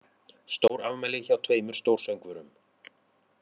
Stórafmæli hjá tveimur stórsöngvurum